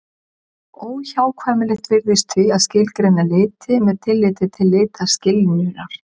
Óhjákvæmilegt virðist því að skilgreina liti með tilliti til litaskynjunar.